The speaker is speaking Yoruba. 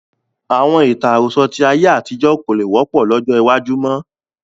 Àwọn ìtàn àròsọ̀ tí ayé àtijọ́ kò lè wọ́pọ̀ lọ́jọ́ iwájú mọ́